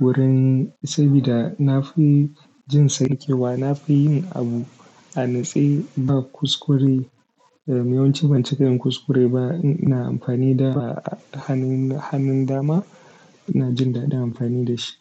wurin sabida na fi jin sa rikewa. Na fi yin abu a natse ba kuskure. Yawanci ban cika yin kuskure ba. Ina amfani da hannun, hannun dama. Ina jin daɗin amfani da shi.